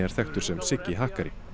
þekktur sem Siggi hakkari